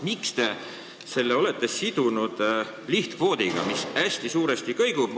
Miks te olete selle sidunud lihtkvoodiga, mis hästi suuresti kõigub?